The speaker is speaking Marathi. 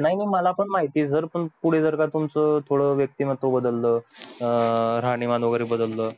नाही नाही मला पण माहित ये पण पुढे जर तुमचं व्यक्ती महत्व बदल राहणीमान वैगेरे बदल